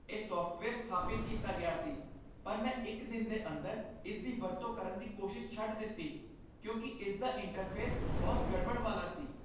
ਇਹ ਸੌਫਟਵੇਅਰ ਸਥਾਪਿਤ ਕੀਤਾ ਗਿਆ ਸੀ ਪਰ ਮੈਂ ਇੱਕ ਦਿਨ ਦੇ ਅੰਦਰ ਇਸਦੀ ਵਰਤੋਂ ਕਰਨ ਦੀ ਕੋਸ਼ਿਸ਼ ਛੱਡ ਦਿੱਤੀ ਕਿਉਂਕਿ ਇਸਦਾ ਇੰਟਰਫੇਸ ਬਹੁਤ ਗੜਬੜ ਵਾਲਾ ਸੀ।